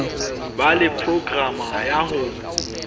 ba le programa ya ho